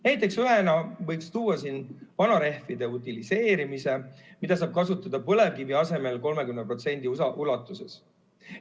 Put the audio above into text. Näiteks võib tuua vanade rehvide utiliseerimise, mida saab kasutada põlevkivi asemel 30% ulatuses.